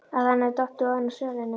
Að hann hefði dottið ofan af svölunum!